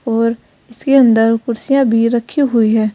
और इसके अंदर कुर्सियां भी रखी हुई है।